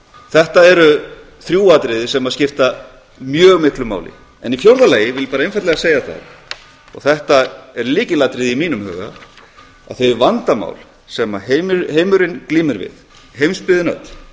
þetta eru þrjú atriði sem skipta mjög miklu máli í fjórða lagi vil ég bara einfaldlega segja það og þetta er lykilatriði í mínum huga að þau vandamál sem heimurinn glímir við heimsbyggðin öll